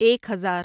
ایک ہزار